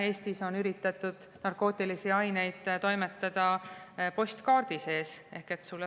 Eestis on üritatud narkootilisi aineid toimetada postkaardiga.